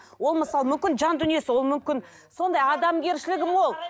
ол мысалы мүмкін жан дүниесі ол мүмкін сондай адамгершілігі мол